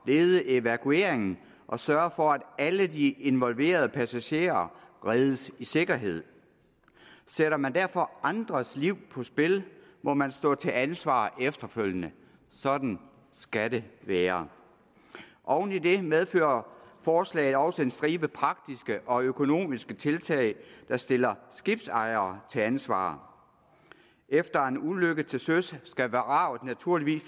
lede evakueringen og sørge for at alle de involverede passagerer reddes i sikkerhed sætter man derfor andres liv på spil må man stå til ansvar efterfølgende sådan skal det være oven i det medfører forslaget også en stribe praktiske og økonomiske tiltag der stiller skibsejere til ansvar efter en ulykke til søs skal vraget naturligvis